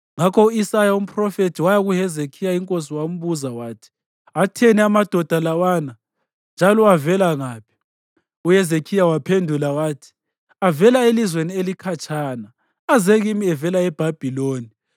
Ngakho u-Isaya umphrofethi waya kuHezekhiya inkosi wambuza wathi, “Atheni amadoda lawana, njalo avela ngaphi?” UHezekhiya waphendula wathi, “Avela elizweni elikhatshana. Aze kimi evela eBhabhiloni.”